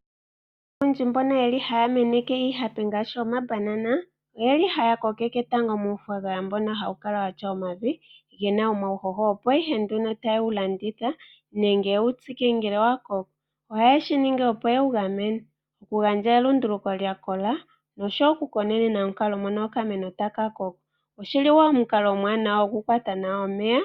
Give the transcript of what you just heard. Aantu oyendji mbono haya meneke iihape ngaashi omabanana tango oha yeyi kokeke muuthaganyanya mbono hawu kala wuna omavi gena uuhoho, opo ihe yewu tsike nenge yewulandithe. Ohaye shi ningi opo yewu gamene oku gandja elunduluko lya kola oshowo okukonenena nkene omuti tagu koko. Oshi li omukalo omuwanawa oku kwata nawa omeya